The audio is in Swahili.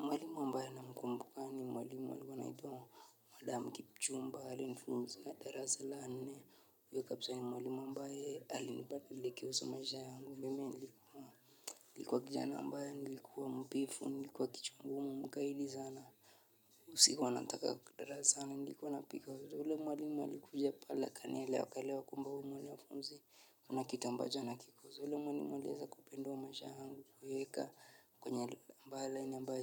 Mwalimu ambaye namkumbuka ni mwalimu alikuwa anaitwa madam kipchumba alinifunza darasa la nne huyo kabisa ni mwalimu ambaye alininadilisha maisha yangu nilikuwa kijana ambaye nilikuwa mvivu, nilikuwa kichwa ngumu, mkaidi sana. Sikuwa nataka darasani nilikuwa napiga na ule mwalimu alikuja pale akanielewa akaelewa kwamba huyu mwanafunzi kuna kitu ambacho anakiko. So yule mwalimu alieza kupendwa maisha yangu. Kuiweka kwenye ambaye lani ambaye